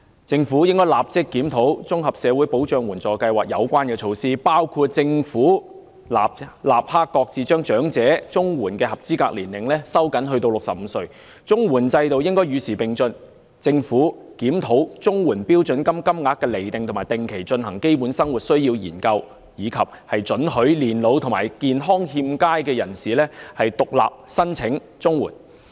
政府應立即檢討綜合社會保障援助計劃的相關措施，包括政府應立即擱置將領取長者綜援的合資格年齡收緊至65歲；綜援制度應與時並進，政府應檢討綜援標準金額，並定期進行基本生活需要研究，以及准許年老及健康欠佳的人士獨立申請綜援。